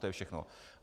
To je všechno.